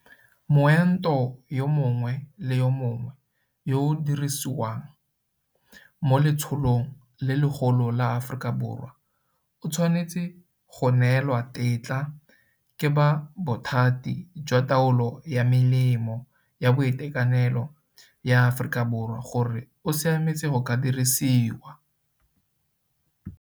Moento yo mongwe le yo mongwe yo o dirisiwang mo letsholong le legolo la Aforika Borwa o tshwanetse go neelwa tetla ke ba Bothati jwa Taolo ya Melemo ya Boitekanelo ya Aforika Borwa gore o siametse go ka diriwiswa.